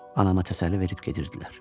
Anama təsəlli verib gedirdilər.